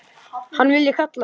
Hvað viljiði kalla mig?